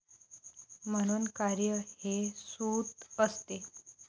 म्हणून कार्य हे 'सूत' असते.